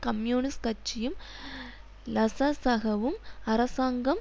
communist கட்சியும் லசசக வும் அரசாங்கம்